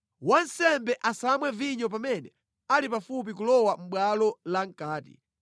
Wansembe asamwe vinyo pamene ali pafupi kulowa mʼbwalo la mʼkati.